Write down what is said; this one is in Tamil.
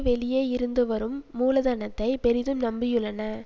வெளியே இருந்து வரும் மூலதனத்தைப் பெரிதும் நம்பியுள்ளன